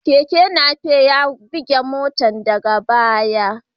Keken Napep ya bugi motar daga baya.